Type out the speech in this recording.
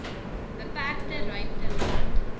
beperkte ruimte laat